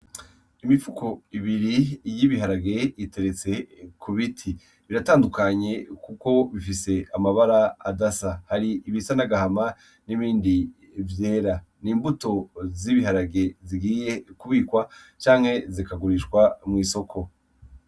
Imipfuko ibiri yibiharage iteretse ku biti iratandukanye, kuko bifise amabara adasa hari ibisa nagahama n'ibindi vyera ni imbuto z'ibiharage zigiye kubikwa canke zikagurishwa mw'isoko.